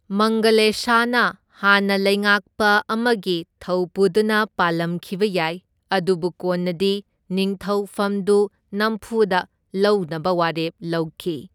ꯃꯪꯒꯂꯦꯁꯥꯅ ꯍꯥꯟꯅ ꯂꯩꯉꯥꯛꯄ ꯑꯃꯒꯤ ꯊꯧꯄꯨꯗꯨꯅ ꯄꯥꯜꯂꯝꯈꯤꯕ ꯌꯥꯏ, ꯑꯗꯨꯕꯨ ꯀꯣꯟꯅꯗꯤ ꯅꯤꯡꯊꯧ ꯐꯝꯗꯨ ꯅꯝꯐꯨꯗ ꯂꯧꯅꯕ ꯋꯥꯔꯦꯞ ꯂꯧꯈꯤ꯫